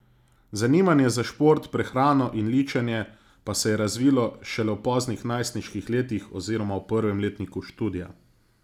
Zanimanje za šport, prehrano in ličenje pa se je razvilo šele v poznih najstniških letih oziroma v prvem letniku študija.